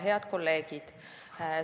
Head kolleegid!